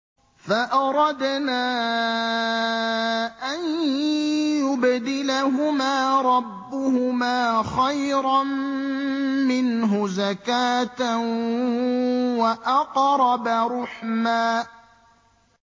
فَأَرَدْنَا أَن يُبْدِلَهُمَا رَبُّهُمَا خَيْرًا مِّنْهُ زَكَاةً وَأَقْرَبَ رُحْمًا